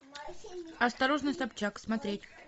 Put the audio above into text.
осторожно собчак смотреть